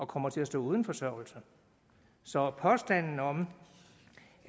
kommer til at stå uden forsørgelse så påstanden om